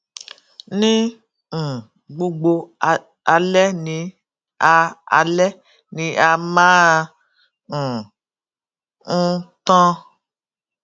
ní um gbogbo alẹ ni a alẹ ni a máa um n tan